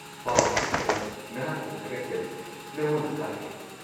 -ꯄꯥꯎ ꯑꯁꯤꯒꯤꯗꯃꯛ ꯅꯍꯥꯛꯄꯨ ꯊꯥꯒꯠꯆꯔꯤ, ꯅꯉꯣꯟꯗ ꯊꯥꯔꯛꯀꯦ꯫